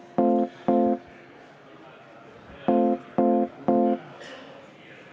Saadikul on õigus repliigile sellisel juhul, kui läbirääkimistel mainitakse kas tema nime või mingisuguseid asju, mida keegi konkreetselt on maininud.